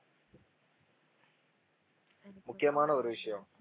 முக்கியமான ஒரு விஷயம்